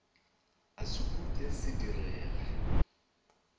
a se upše se direge